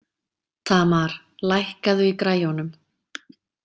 Tamar, lækkaðu í græjunum.